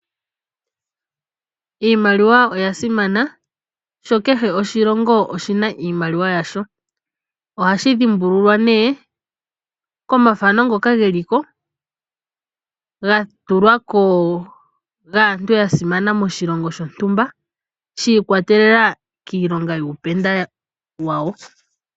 Iimaliwa oya simana sho kehe oshilongo oshi na iimaliwa yasho, ohashi dhimbululwa ne komathano ngoka geliko ga tulwako gaantu ya simana moshilongo shontumba shiikwatelela kiilonga yuupenda wawo.